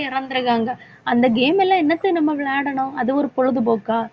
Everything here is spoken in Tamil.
இறந்துருக்காங்க அந்த game எல்லாம் என்னத்த நம்ம விளையாடணும் அது ஒரு பொழுதுபோக்கா